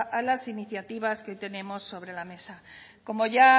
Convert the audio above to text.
a las iniciativas que tenemos sobre la mesa como ya